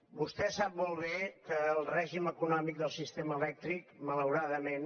vostè sap molt bé que el règim econòmic del sistema elèctric malauradament